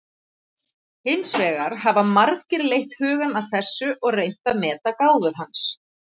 Hins vegar hafa margir leitt hugann að þessu og reynt að meta gáfur hans.